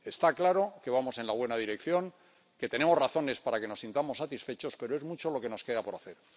Está claro que vamos en la buena dirección, que tenemos razones para sentirnos satisfechos, pero es mucho lo que nos queda por hacer.